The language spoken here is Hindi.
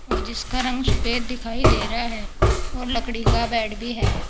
और जिसका रंग सफेद दिखाई दे रहा है और लकड़ी का बेड भी है।